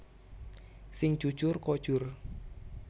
Sing jujur kojur